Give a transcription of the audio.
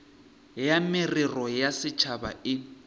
ya merero ya setšhaba e